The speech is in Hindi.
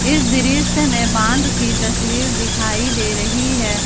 इस दृश्य में बांध की तस्वीर दिखाई दे रही है।